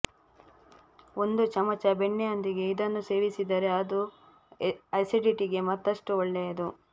ಒಂದು ಚಮಚ ಬೆಣ್ಣೆಯೊಂದಿಗೆ ಇದನ್ನು ಸೇವಿಸಿದರೆ ಅದು ಅಸಿಡಿಟಿಗೆ ಮತ್ತಷ್ಟು ಒಳ್ಳೆಯದು